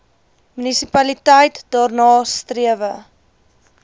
munisipaliteit daarna strewe